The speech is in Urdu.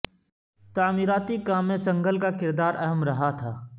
تعمیراتی کام میں سنگھل کا کردار اہم رہا تھا